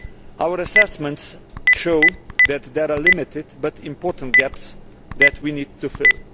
Our assessments show that there are limited but important gaps that we need to fill.